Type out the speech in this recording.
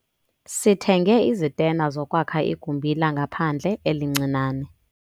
Sithenge izitena zokwakha igumbi langaphandle elincinane.